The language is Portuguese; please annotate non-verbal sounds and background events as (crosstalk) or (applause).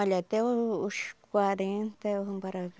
Olha, até o os quarenta (unintelligible)